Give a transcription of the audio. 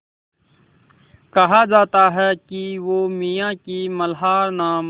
कहा जाता है कि वो मियाँ की मल्हार नाम